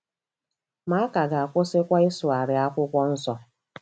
Ma a ka ga-akwụsịkwa ịsụgharị Akwụkwọ Nsọ.